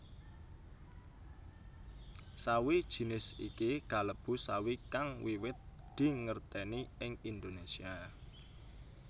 Sawi jinis iki kalebu sawi kang wiwit dingertèni ing Indonésia